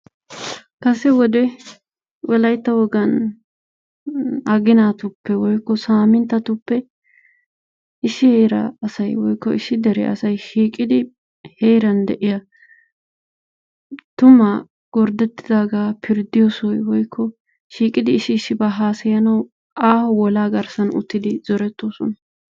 Kase wode wolaytta wogaan aginatuppe woykko samintattuppe issi heeraa asay woykko issi deriyaa asay shiiqidi heeran de'iyaa tumaa gorddettidaaga pirddiyoo sohoy woykko shiiqqidi issi issibaa garssaan hasaayanwu aaho wolaa garssan uttidi zorettoosona.